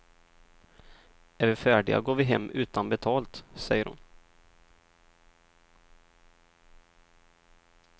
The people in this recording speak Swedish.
Är vi färdiga går vi hem utan betalt, säger hon.